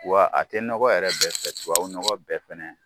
Wa a tɛ nɔgɔ yɛrɛ bɛɛ fɛ tubabu nɔgɔ bɛɛ fɛnɛ